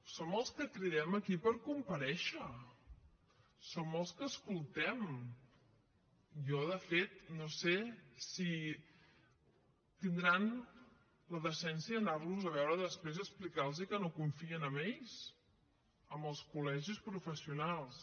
són els que cridem aquí per comparèixer són els que escoltem jo de fet no sé si tindran la decència d’anar los a veure després i explicar los que no confien en ells en els col·legis professionals